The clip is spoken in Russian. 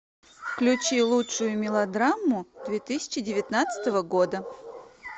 включи лучшую мелодраму две тысячи девятнадцатого года